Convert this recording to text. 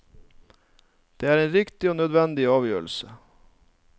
Det er en riktig og nødvendig avgjørelse.